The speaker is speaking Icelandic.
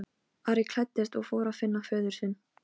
Hvers vegna sagðirðu mér þetta ekki áður en við fórum?